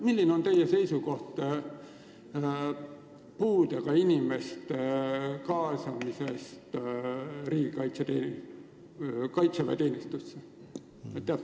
Milline on teie seisukoht puudega inimeste kaitseväeteenistusse kaasamise suhtes?